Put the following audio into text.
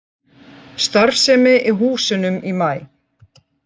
Starfsemi í húsunum í maí